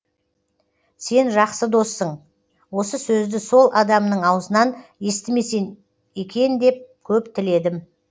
сен жақсы доссың осы сөзді сол адамның аузынан естімесе екен деп көп тіледім